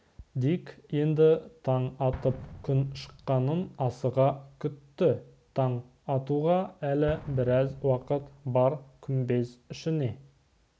дик енді таң атып күн шыққанын асыға күтті таң атуға әлі біраз уақыт бар күмбез ішіне